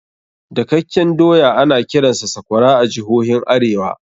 Dakakken doya ana kiransa sakwara a jihohin arewa.